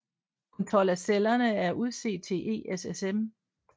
Kun 12 af cellerne er udset til ESSM